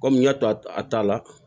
Kɔmi n y'a to a ta la